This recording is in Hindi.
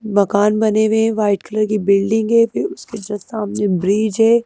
मकान बने हुए हैं वाइट कलर की बिल्डिंग है फिर उसके जस्ट सामने ब्रिज है।